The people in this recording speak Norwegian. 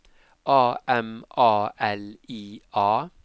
A M A L I A